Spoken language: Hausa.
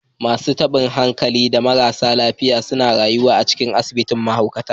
Masu tabin hankali da marasa lafiya suna rayuwa a cikin asibitin mahaukata